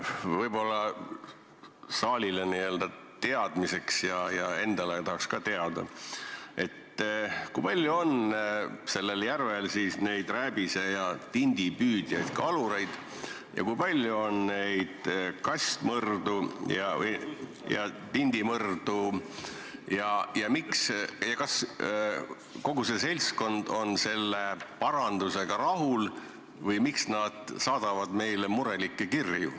Võib-olla saalile teadmiseks ja ise tahaks ka teada, kui palju on sellel järvel neid rääbise- ja tindipüüdjaid kalureid ja kui palju on neid kastmõrdu ja tindimõrdu ning kas kogu see seltskond on selle parandusega rahul või miks nad saadavad meile praegu murelikke kirju.